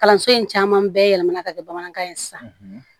Kalanso in caman bɛɛ yɛlɛmana ka kɛ bamanankan ye sisan